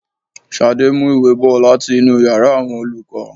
Ṣadé, mú ìwé bò láti inú ìyára àwọn olùkọ́.